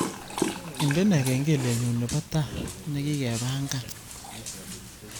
Indene kengelenyu nebo tao negigepangan